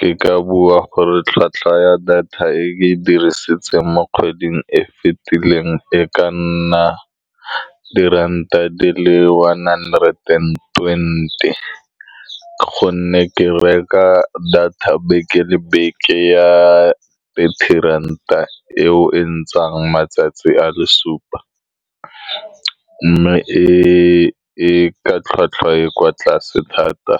Ke ka bua gore, tlhwatlhwa ya data e ke e dirisetsang mo kgweding e e fitileng, e ka nna diranta di le one hundered and twenty, ka gonne ke reka data beke le beke ya thirty ranta, e o e ntsayang matsatsi a le supa. Mme e e ka tlhwatlhwa e e kwa tlase thata